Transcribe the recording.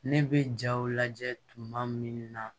Ne bɛ jaw lajɛ tuma min na